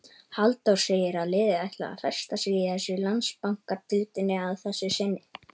Halldór segir að liðið ætli að festa sig í sessi í Landsbankadeildinni að þessu sinni.